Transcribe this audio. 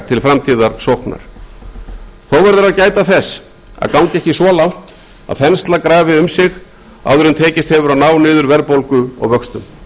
til framtíðarsóknar þó verður að gæta þess að ganga ekki svo langt að þensla grafi um sig áður en tekist hefur að ná niður verðbólgu og vöxtum